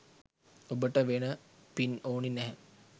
ඔබට වෙන පින් ඕන නැහැ